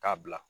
K'a bila